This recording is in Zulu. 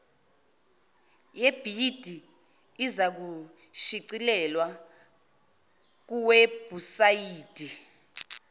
yebhidi izakushicilelwa kuwebhusayidi